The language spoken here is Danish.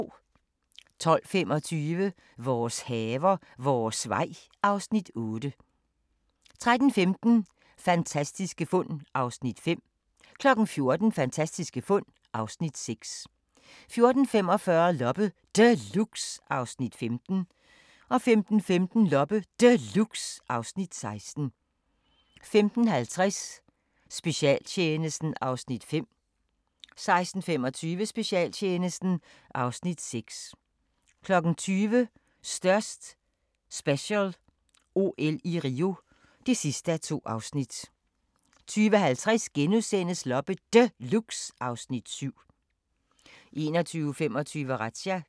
12:25: Vores haver, vores vej (Afs. 8) 13:15: Fantastiske fund (Afs. 5) 14:00: Fantastiske fund (Afs. 6) 14:45: Loppe Deluxe (Afs. 15) 15:15: Loppe Deluxe (Afs. 16) 15:50: Specialtjenesten (Afs. 5) 16:25: Specialtjenesten (Afs. 6) 20:00: Størst special – OL i Rio (2:2) 20:50: Loppe Deluxe (Afs. 7)* 21:25: Razzia